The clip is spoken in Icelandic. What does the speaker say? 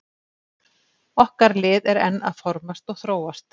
Okkar lið er enn að formast og þróast.